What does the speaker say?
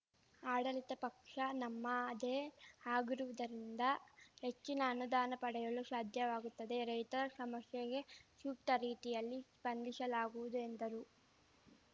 ಆಡಳಿತ ಪಕ್ಷ ನಮ್ಮದೇ ಆಗಿರುವುದರಿಂದ ಹೆಚ್ಚಿನ ಅನುದಾನ ಪಡೆಯಲು ಶಾಧ್ಯವಾಗುತ್ತದೆ ರೈತರ ಶಮಸ್ಯೆಗೆ ಶೂಕ್ತ ರೀತಿಯಲ್ಲಿ ಶ್ಪಂದಿಸಲಾಗುವುದು ಎಂದರು